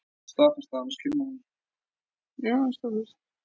Viltu koma eftir lokaflautið og segja þeim það sjálfur?